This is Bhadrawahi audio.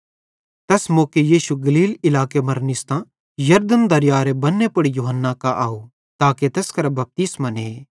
तैस मौके यीशु गलील इलाके मरां यरदन दरयारे बन्ने पुड़ यूहन्ना कां आव ताके तैस करां बपतिस्मो ने